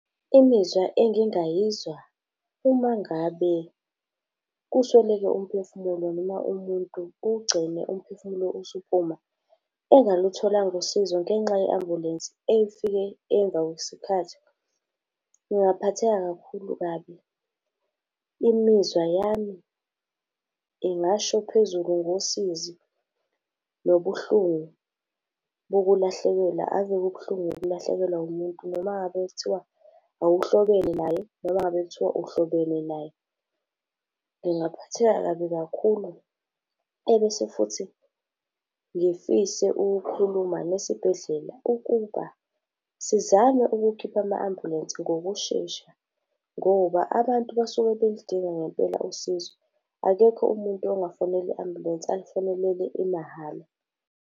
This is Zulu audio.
Imizwa engingayizwa uma ngabe kusweleke umphefumulo, noma umuntu kugcine umphefumulo usuphuma engalutholanga usizo ngenxa ye ambulensi efike emva kwesikhathi. Ngaphatheka kakhulu kabi, imizwa yami ingasho phezulu ngosizi, nobuhlungu bokulahlekelwa ave kubuhlungu ukulahlekelwa umuntu noma ngabe kuthiwa awuhlobene naye, noma ngabe kuthiwa uhlobene naye. Ngingaphatheka kabi kakhulu, ebese futhi ngifise ukukhuluma nesibhedlela, ukuba sizame ukukhipha ama-ambulensi ngokushesha, ngoba abantu basuke beludinga ngempela usizo. Akekho umuntu ongafonela i-ambulensi ayifonelele imahhala.